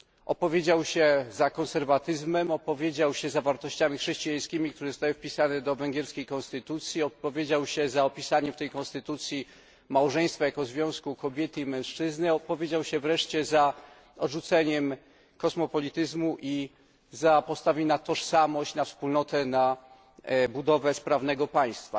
Opowiedział się za konserwatyzmem, za wartościami chrześcijańskimi, które zostały wpisane do węgierskiej konstytucji, opowiedział się za opisaniem w tej konstytucji małżeństwa jako związku kobiety i mężczyzny, opowiedział się wreszcie za odrzuceniem kosmopolityzmu i postawił na tożsamość, wspólnotę i budowę sprawnego państwa.